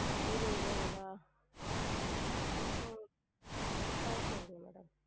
இருவது ருவாய்ங்களா? உம் ஆஹ் சரிங்க madam